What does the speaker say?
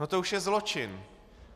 No to už je zločin!